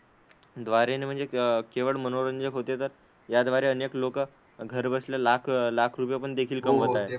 द्वारे न म्हणजे क केवळ मनोरंजन होते, तर याद्वारे अनेक लोकं घरबसल्या लाख लाख रुपयेपण देखील कमवत आहे.